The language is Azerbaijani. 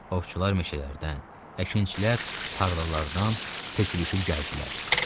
Ovçular meşələrdən, əkinçilər tarlalardan tökülüşüb gəldilər.